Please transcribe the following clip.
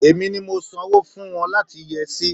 Èmi ni mo sanwó fún wọn láti yẹ́ ẹ sí.